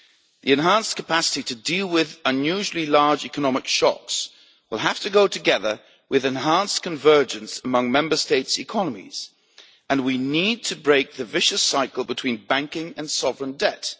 The enhanced capacity to deal with unusually large economic shocks will have to go together with enhanced convergence among Member States' economies and we need to break the vicious cycle between banking and sovereign debt.